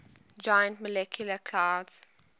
giant molecular clouds